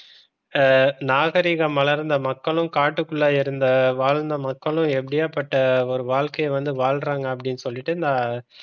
இப்ப நாகரிகம் மலர்ந்த மக்களும் காட்டுக்குள்ள இருந்த வாழ்ந்த மக்களும் எப்படியாப்பட்ட ஒரு வாழ்க்கை வந்து வாழ்றாங்க அப்படின்னு சொல்லிட்டு இந்த